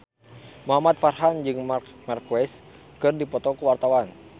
Muhamad Farhan jeung Marc Marquez keur dipoto ku wartawan